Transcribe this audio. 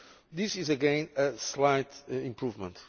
This is again a slight improvement.